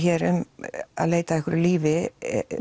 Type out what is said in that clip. um að leita að einhverju lífi